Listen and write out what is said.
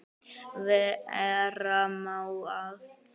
Vera má að